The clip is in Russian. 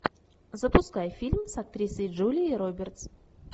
запускай фильм с актрисой джулией робертс